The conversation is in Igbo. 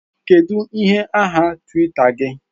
Kedu ihe aha Twitter gị?